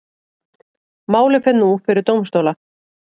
Málið fer nú fyrir dómstóla